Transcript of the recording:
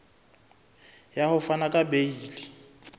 ya ho fana ka beile